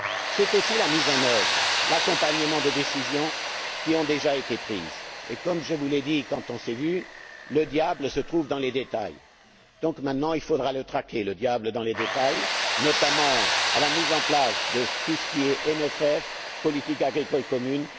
C'est aussi la mise en œuvre, l'accompagnement de décisions qui ont déjà été prises. Et comme je vous l'ai dit quand nous nous sommes vus, le diable se trouve dans les détails. Donc, maintenant, il faudra le traquer, le diable dans les détails, notamment dans le contexte de la mise en place de tout ce qui est CFP et politique agricole commune.